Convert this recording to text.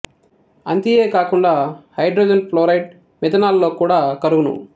అంతియే కాకుండా hydrogen fluoride methanol లో కూడా కరుగును